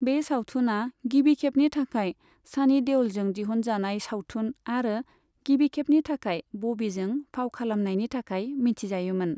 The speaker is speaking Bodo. बे सावथुनआ गिबिखेबनि थाखाय सानी देअ'लजों दिहनजानाय सावथुन आरो गिबिखेबनि थाखाय बबीजों फाव खालामनायनि थाखाय मिथिजायोमोन।